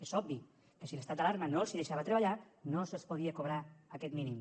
és obvi que si l’estat d’alarma no els deixava treballar no se’ls podia cobrar aquest mínim